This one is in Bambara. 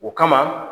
O kama